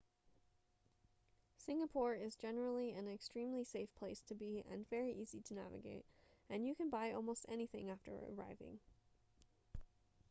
singapore is generally an extremely safe place to be and very easy to navigate and you can buy almost anything after arriving